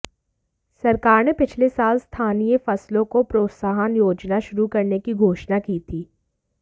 सरकार ने पिछले साल स्थानीय फसलों को प्रोत्साहन योजना शुरू करने की घोषणा की थी